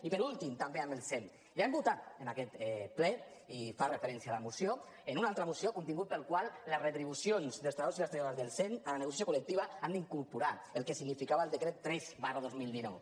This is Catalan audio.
i per últim també amb el sem ja hem votat en aquest ple i se’n fa referència a la moció en una altra moció el contingut pel qual a les retribucions dels treballadors i les treballadores del sem en negociació col·lectiva han d’incorporar el que significava el decret tres dos mil dinou